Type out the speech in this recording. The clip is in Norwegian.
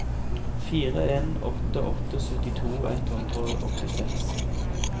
fire en åtte åtte syttito ett hundre og åttiseks